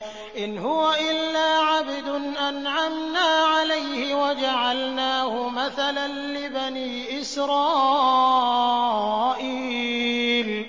إِنْ هُوَ إِلَّا عَبْدٌ أَنْعَمْنَا عَلَيْهِ وَجَعَلْنَاهُ مَثَلًا لِّبَنِي إِسْرَائِيلَ